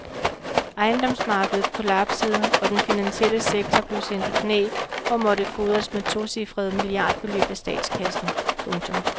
Ejendomsmarkedet kollapsede og den finansielle sektor blev sendt i knæ og måtte fodres med tocifrede milliardbeløb af statskassen. punktum